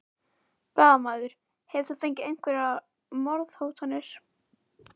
Blaðamaður: Hefur þú fengið einhverjar morðhótanir?